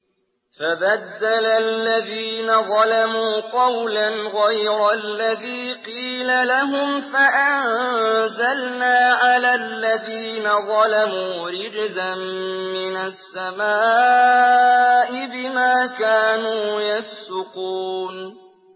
فَبَدَّلَ الَّذِينَ ظَلَمُوا قَوْلًا غَيْرَ الَّذِي قِيلَ لَهُمْ فَأَنزَلْنَا عَلَى الَّذِينَ ظَلَمُوا رِجْزًا مِّنَ السَّمَاءِ بِمَا كَانُوا يَفْسُقُونَ